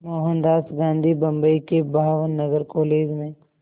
मोहनदास गांधी बम्बई के भावनगर कॉलेज में